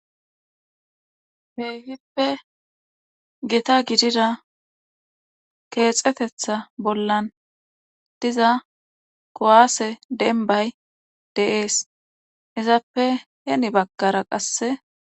Keehipe gita gidida keexetetta bollan diza kuwaase dembbay de7ees izappe heni baggara qasse.